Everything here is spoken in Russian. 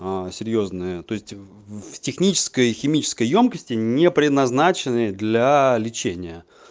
а серьёзные то есть в технической химической ёмкости не предназначенных для лечения